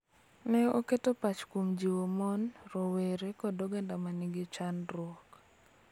Ne oketo pach kuom jiwo mon, rowere, kod oganda ma nigi chandruok.